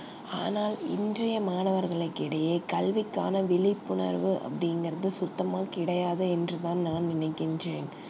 அனால் இந்திய மாணவர்கள் கிடையே கல்வி காண விழிப்புணர்வு அப்டி இங்கர்து சுத்தமா கிடையாது என்று தான் நான் நினைக்கின்றேன்